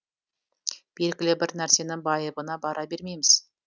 белгілі бір нәрсенің байыбына бара бермейміз